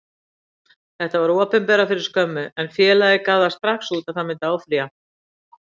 Þetta var opinberað fyrir skömmu, en félagið gaf það strax út að það myndi áfrýja.